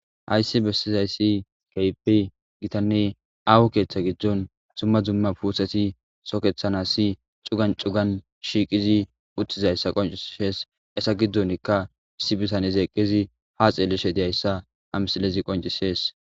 Hayssi bessizayssi keypi gitanne aawo keeththa giddon zumma zumma puuseti sokethanassi cugan cugan shiiqizi uttizayssa qonciees essa giddonikka issi bitanez eqqizi ha xeellishe deyayssa amsilezi qoncisees.